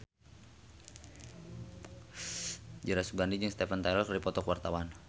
Dira Sugandi jeung Steven Tyler keur dipoto ku wartawan